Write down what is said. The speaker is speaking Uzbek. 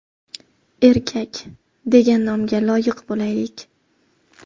Erkak degan nomga loyiq bo‘laylik!